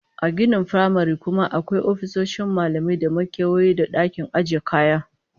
A ginin firamaren kuma akwai ofisoshin malamai da makewayi da dakin ajiye kaya